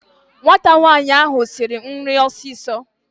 Nwata nwaanyị ahụ siri nri ọsịsọ